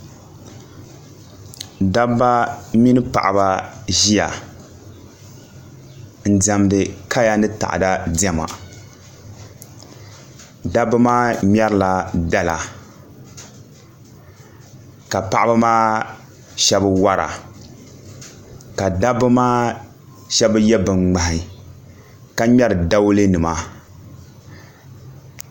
Dabba mini paɣaba n ʒiya n diɛmdi kaya ni taada diɛma dabba maa ŋmɛrila dala ka paɣaba maa shab wora ka dabba maa shab yɛ bin ŋmahi ka ŋmɛri dawulɛ nima